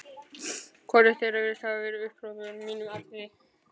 Hvorugt þeirra virðist hafa veitt upphrópunum mínum athygli.